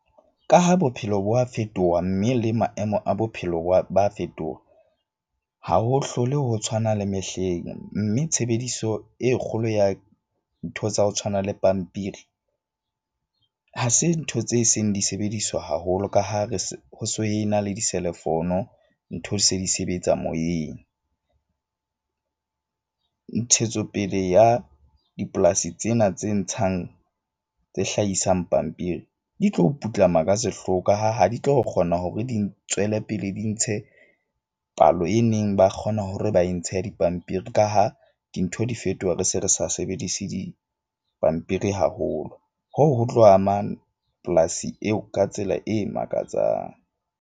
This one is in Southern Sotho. Ka ha bophelo bo a fetoha, mme le maemo a bophelo ba fetoha, ha ho hlole ho tshwana le mehleng. Mme tshebediso e kgolo ya ntho tsa ho tshwana le pampiri ha se ntho tse seng di sebediswa haholo, ka ha re se ho se ho ena le di selefono. Ntho di se di sebetsa moyeng. Ntshetsopele ya dipolasi tsena tse ntshang tse hlahisang pampiri di tlo putlama ka sehloho ka ha, ha di tlo kgona hore di ntswele pele di ntshe palo e neng ba kgona ho re ba e ntshe dipampiri. Ka ha dintho di fetoha. Re se re sa sebedise pampiri haholo. Hoo ho tlo ama polasi eo ka tsela e makatsang.